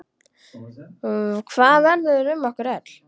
Hvað verður um okkur öll?